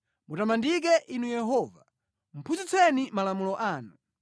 Mutamandike Inu Yehova; phunzitseni malamulo anu.